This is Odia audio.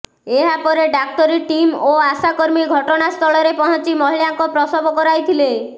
ଏହାପରେ ଡାକ୍ତରୀ ଟିମ୍ ଓ ଆଶାକର୍ମୀ ଘଟଣାସ୍ଥଳରେ ପହଞ୍ଚି ମହିଳାଙ୍କ ପ୍ରସବ କରାଇଥିଲେ